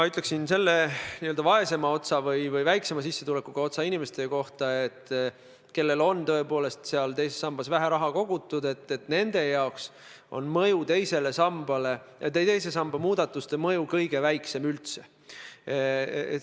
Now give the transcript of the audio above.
Selle n-ö vaesema osa või väiksema sissetulekuga inimeste kohta, kellel on tõepoolest teises sambas vähe raha kogutud, ma ütleksin, et nende jaoks on teise samba muudatuste mõju kõige väiksem üldse.